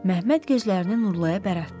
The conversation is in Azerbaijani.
Məmməd gözlərinin Nurlaya bərətdi.